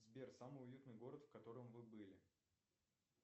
сбер самый уютный город в котором вы были